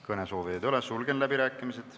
Kõnesoovijaid ei ole, sulgen läbirääkimised.